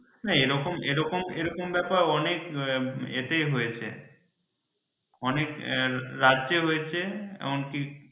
না এরকম এরকম ব্যাপার অনেক এতেই হয়েছে অনেক রাজ্যে হয়েছে এমনকি